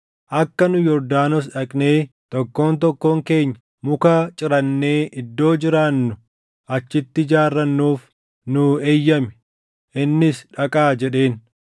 Akka nu Yordaanos dhaqnee tokkoon tokkoon keenya muka cirannee iddoo jiraannu achitti ijaarrannuuf nuu eeyyami.” Innis, “Dhaqaa” jedheen.